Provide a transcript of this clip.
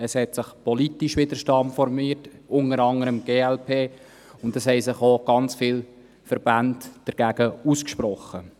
Es hat sich politisch Widerstand formiert, unter anderem seitens der glp, und es haben sich auch ganz viele Verbände dagegen ausgesprochen.